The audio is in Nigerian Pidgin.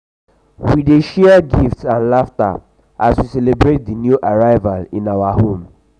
we dey share gifts and laughter as we celebrate the new arrival in our home.